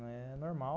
Não é normal.